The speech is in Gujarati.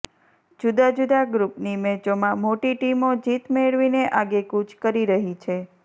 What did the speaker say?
જુદા જુદા ગ્રુપની મેચોમાં મોટી ટીમો જીત મેળવીને આગેકૂચ કરી રહી છે